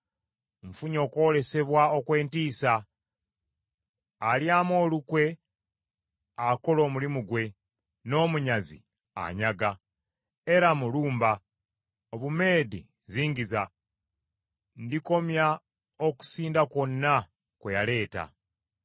Nfunye okwolesebwa okw’entiisa: alyamu olukwe akola omulimu gwe, n’omunyazi anyaga. Eramu, lumba! Obumeedi zingiza! Ndikomya okusinda kwonna kwe yaleeta.